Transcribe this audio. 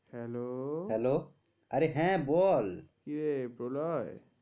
Hello hello আরে হ্যাঁ রে বল, কিরে প্রলয়?